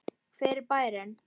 Hver er bærinn?